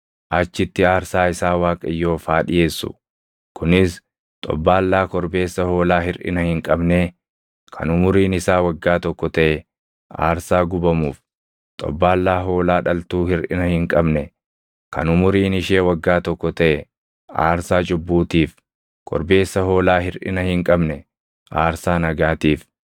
Achitti aarsaa isaa Waaqayyoof haa dhiʼeessu; kunis xobbaallaa korbeessa hoolaa hirʼina hin qabnee kan umuriin isaa waggaa tokko taʼe aarsaa gubamuuf, xobbaallaa hoolaa dhaltuu hirʼina hin qabne kan umuriin ishee waggaa tokko taʼe aarsaa cubbuutiif, korbeessa hoolaa hirʼina hin qabne aarsaa nagaatiif,